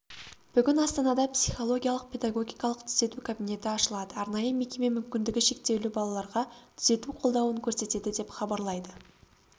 бүгін астанада психологиялық-педагогикалық түзету кабинеті ашылады арнайы мекеме мүмкіндігі шектеулі балаларға түзету қолдауын көрсетеді деп хабарлайды